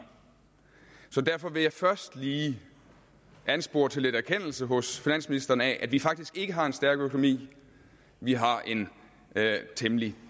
så derfor vil jeg først lige anspore til lidt erkendelse hos finansministeren af at vi faktisk ikke har en stærk økonomi vi har en temmelig